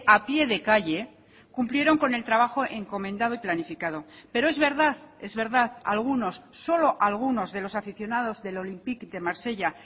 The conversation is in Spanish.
a pie de calle cumplieron con el trabajo encomendado y planificado pero es verdad es verdad algunos solo algunos de los aficionados del olympique de marsella